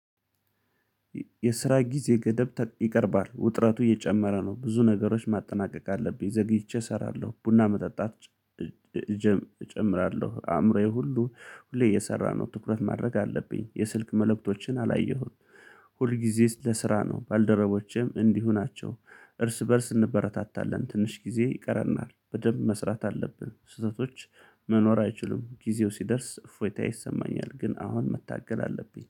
የስራ ጊዜ ገደብ ይቀርባል ውጥረቱ እየጨመረ ነው ብዙ ነገሮች ማጠናቀቅ አለብኝ ዘግይቼ እሰራለሁ ቡና መጠጣት። እጨምራለሁ አእምሮዬ ሁሉ ሁሌ የሰራነው ትኩረት ማድረግ አለብኝ የስልክ መልእክቶችን አላየሁም። ሁል ጊዜስ ለስራ ነው ባልደረቦቼም እንዲሁ ናቸው። እርስ በእርስ እንበረታታለን ትንሽ ጊዜ ይቀረናል በደንብ መስራት አለብን ስህተቶች። መኖር አይችሉም ጊዜው ሲደርስ ፎይታ ይሰማኛል ግን አሁን መታገል አለብኝ